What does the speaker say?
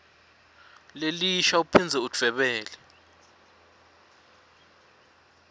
lelisha uphindze udvwebele